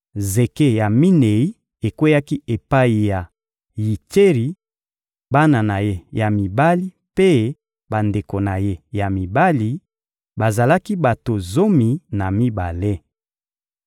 Zeke ya minei ekweyaki epai ya Yitseri, bana na ye ya mibali mpe bandeko na ye ya mibali: bazalaki bato zomi na mibale.